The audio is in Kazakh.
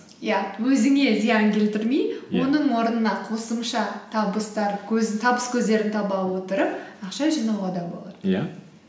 иә өзіңе зиян келтірмей иә оның орнына қосымша табыс көздерін таба отырып ақша жинауға да болады иә